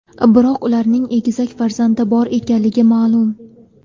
Biroq ularning egizak farzandi bor ekanligi ma’lum.